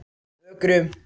Ökrum